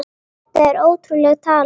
Þetta er ótrúleg tala.